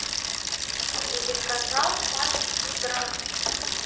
телеканал матч игра